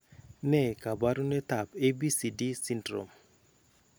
Ne kaabarunetap ABCD syndrome?